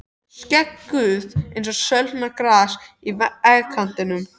Skegg Guðs eins og sölnað gras í vegkantinum.